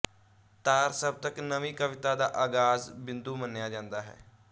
ਤਾਰ ਸਪਤਕ ਨਵੀਂ ਕਵਿਤਾ ਦਾ ਆਗਾਜ਼ ਬਿੰਦੂ ਮੰਨਿਆ ਜਾਂਦਾ ਹੈ